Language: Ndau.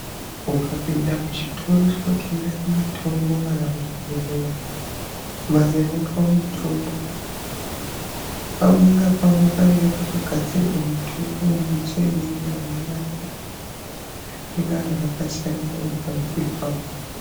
Ukapinde muchitoro chinotengese mutombo kana zvibhehlera, mbatso inotengese mutombo pamwe inga pakananisirwa mutombo unenge uine zvipingano zvakasiyana ngeumweni uri pamhiri pavo.